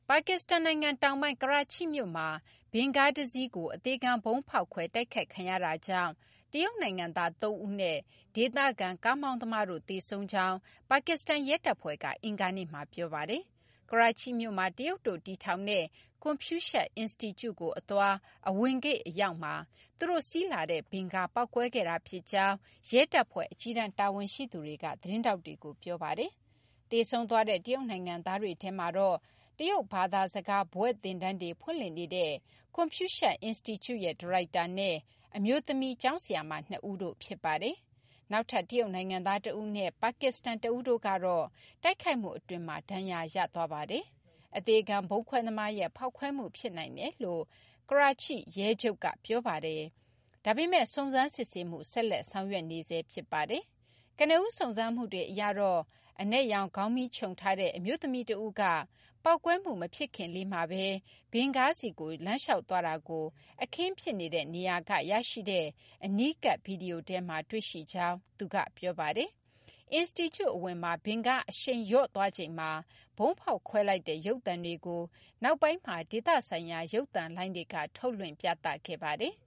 ပါကစ္စတန် နိုင်ငံ တောင်ပိုင်း ကရာချိ မြို့မှာ ဗင်ကားတစီးတွင်း အသေခံ ဗုံးဖောက်ခွဲမှုကြောင့် တရုတ် နိုင်ငံသား ၃ ဦးနဲ့ ဒေသခံ ကားမောင်းသမားတို့ သေဆုံးကြောင်း ပါကစ္စတန် ရဲတပ်ဖွဲ့က အင်္ဂါနေ့မှာ ပြောပါတယ်။ အခု သေဆုံးရသူတွေကတော့ ကရာချိမြို့မှာ တရုတ်တို့ တည်ထောင်တဲ့ ကွန်ဖြူးရှပ် အင်စတီကျုကို သွားခဲ့တာမှာ အဝင်ဂိတ် အရောက်မှာ သူတို့ စီးနင်းလာတဲ့ ဗင်ကား ပေါက်ကွဲခဲ့တာ ဖြစ်ကြောင်း ရဲတပ်ဖွဲ့ အကြီးတန်း တာဝန်ရှိသူတွေက သတင်းထောက်တွေကို ပြောပါတယ်။ သေဆုံးသွားတဲ့ တရုတ် နိုင်ငံသားတွေထဲမှာတော့ တရုတ် ဘာသာစကား ဘွဲ့သင်တန်းတွေ ဖွင့်လှစ်နေတဲ့ ကွန်ဖြူးရှပ် အင်စတီကျူရဲ့ ဒါရိုက်တာနဲ့ အမျိုးသမီး ကျောင်းဆရာမ နှစ်ဦးတို့ ဖြစ်ပါတယ်။ နောက်ထပ် တရုတ် နိုင်ငံသား တဦးနဲ့ ပါကစ္စတန်တဦးတို့ကတော့ တိုက်ခိုက်မှု အတွင်းမှာ ဒဏ်ရာရသွားပါတယ်။ အသေခံ ဗုံးခွဲသမားရဲ့ ဖောက်ခွဲမှု ဖြစ်နိုင်တယ်လို့ Karachi ရဲချုပ် Ghulam Nabi Memon က ပြောပါတယ်။ ဒါပေမယ့် စုံစမ်း စစ်ဆေးမှု ဆက်လက် ဆောင်ရွက်နေဆဲ ဖြစ်ပါတယ်။ ကနဦး စုံစမ်းမှုတွေ အရတော့ အနက်ရောင် ဘာကာ ဝတ်ထားတဲ့ အမျိုးသမီး တဦးက ပေါက်ကွဲမှု မဖြစ်ခင်လေးမှာဘဲ ဗင်ကားဆီကို လမ်းလျှောက်သွားတာကို အခင်းဖြစ်နေရာက ရရှိတဲ့ အနီးကပ် ဗွီဒီယိုထဲမှာ တွေ့ရှိရကြောင်းလည်း သူက ပြောပါတယ်။ အင်စတီကျူ အဝင်မှာ ဗင်ကား အရှိန်လျော့သွားချိန်မှာ အမျိုးသမီး တိုက်ခိုက်သူက ဗုံးဖောက်ခွဲလိုက်တဲ့ ရုပ်သံတွေကို နောက်ပိုင်းမှာ ဒေသဆိုင်ရာ ရုပ်သံလိုင်းတွေမှာ ထုတ်လွှင့်ပြသခဲ့ပါတယ်